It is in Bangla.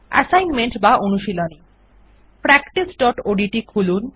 অ্যাসাইনমেন্ট বা অনুশীলনী practiceওডিটি খুলুন